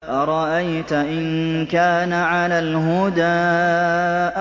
أَرَأَيْتَ إِن كَانَ عَلَى الْهُدَىٰ